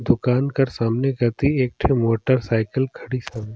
दुकान पर सामने कति एक ठ मोटर साइकिल खड़ीस हवय।